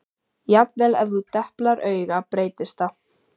Jafnvel ef þú deplar auga breytist það.